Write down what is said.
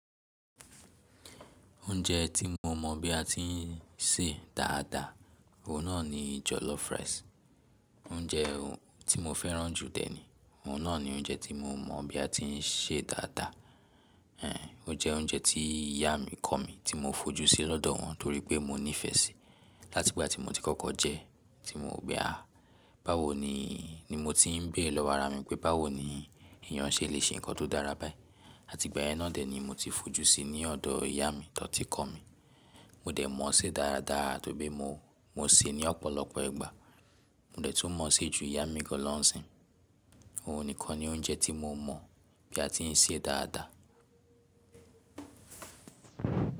Oúnjẹ tí mo mọ̀ bí a ti ń sè dáadáa, òun náà ni jollof rice. Oúnjẹ tí mo fẹ́ràn jù dẹ́ ni, òun náà ni oúnjẹ tí mo mọ̀ bí a ti ń sè dáadáa. Ẹ̀hẹ̀n, ó jẹ́ oúnjẹ tí ìyá mi kọ̀ mí tí mo fojú sí lọ́dọ̀ wọn torí pé mo nífẹ̀ẹ́ síi. Láti ìgbà tí mo ti kọ́kọ́ jẹ ẹ́ tí mo wo pé à, báwo ni, ni mo ti ń béèrè lọ́wọ́ ara mi pé báwo ni èyàn ṣe lè ṣe ǹkan tó dára báyìí. Àti ìgbà yẹn náà dẹ̀ ni mo ti fojú síi ní ọ̀dọ̀ ìyá mi tan ti kọ̀ mí. Mo dẹ̀ mọ̀ ọ́ ṣe dáradára tóri pe mo, mo sè é ní ọ̀pọ̀lọpọ̀ ìgbà. Mo dẹ̀ tún mọ̀ ọ́ ṣe ju ìyá mi lọ́ ǹsìn. Òun nìkan ni oúnjẹ tí mo mọ̀ bí a ti ń sè é dáadáa.